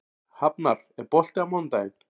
Hafnar, er bolti á mánudaginn?